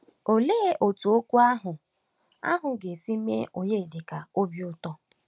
Òlee otú okwu ahụ ahụ ga-esi mee Onyedịka obi ụtọ!